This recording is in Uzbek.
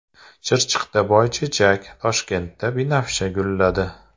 Chirchiqda boychechak, Toshkentda binafsha gulladi.